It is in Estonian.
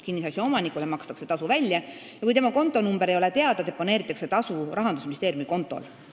Kinnisasja omanikule makstakse tasu välja ja kui tema kontonumber ei ole teada, deponeeritakse tasu Rahandusministeeriumi kontol.